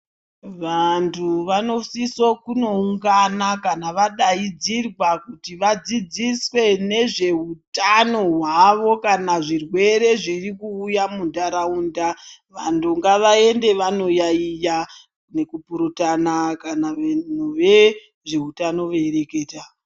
Vantu vanosisa kundoungana kana vadaidzirwa kuti vadzidziswe nezvehutano hutano hwavo kana zvirwere zviri kuuya mundaraunda vantu ngavaende vanoyaiya nekupurutano kana vezvehutano veireketa.